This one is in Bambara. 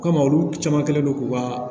Komi olu caman kɛlen don k'u ka